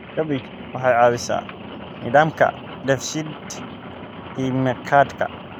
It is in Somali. Cabbage waxay caawisaa nidaamka dheef-shiid kiimikaadka.